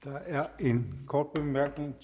der er en kort bemærkning